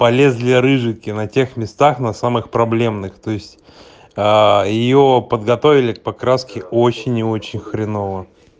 полезли рыжики на тех местах на самых проблемных то есть аа её подготовили к покраске очень и очень хреново